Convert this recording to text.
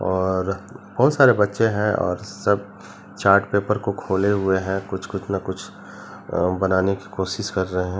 --और बहुत सारे बच्चे है और सब चार्ट पेपर को खोले हुए है कुछ कुछ न कुछ अ बनाने की कोशिश कर रहे हैं।